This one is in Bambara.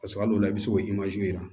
Paseke a dɔw la i bɛ se k'o jira